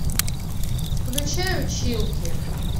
включай училки